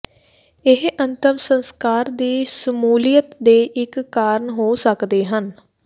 ਇਹ ਅੰਤਿਮ ਸੰਸਕਾਰ ਦੀ ਸ਼ਮੂਲੀਅਤ ਦੇ ਇਕ ਕਾਰਨ ਹੋ ਸਕਦੇ ਹਨ